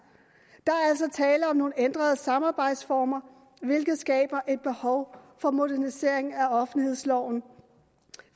der er altså tale om nogle ændrede samarbejdsformer hvilket skaber et behov for en modernisering af offentlighedsloven